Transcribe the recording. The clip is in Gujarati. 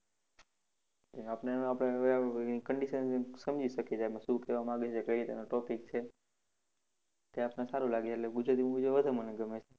આપને હવે આપડે condition સમજી શકીએ છે એમ શું કહેવા માગે છે કઈ રીતનો topic છે તે આપને સારું લાગે છે એટલે ગુજરાતી movie જોવા વધુ મને ગમે છે.